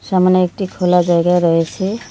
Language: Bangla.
সামনে একটি খোলা জায়গা রয়েছে।